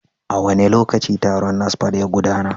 A wane lokaci taron NASFAT ya gudana?